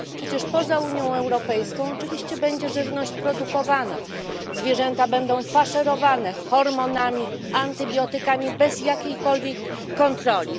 Przecież poza Unią Europejską oczywiście żywność będzie produkowana, zwierzęta będą faszerowane hormonami, antybiotykami bez jakiejkolwiek kontroli.